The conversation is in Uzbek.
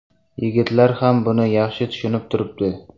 Yigitlar ham buni yaxshi tushunib turibdi.